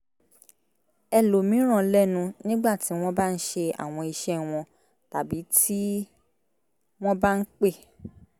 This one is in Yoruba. ẹlòmíràn lẹ́nu nígbà tí wọ́n bá ń ṣe àwọn iṣẹ́ wọn tàbí tí wọ́n bá ń pè